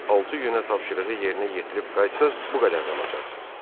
Altı günə tapşırığı yerinə yetirib qayıtsanız bu qədər də alacaqsınız.